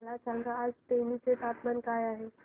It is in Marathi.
मला सांगा आज तेनी चे तापमान काय आहे